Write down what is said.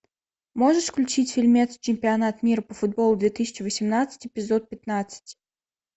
можешь включить фильмец чемпионат мира по футболу две тысячи восемнадцать эпизод пятнадцать